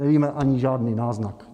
Nevíme ani žádný náznak.